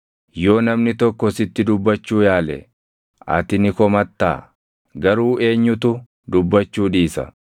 “Yoo namni tokko sitti dubbachuu yaale, ati ni komattaa? Garuu eenyutu dubbachuu dhiisa?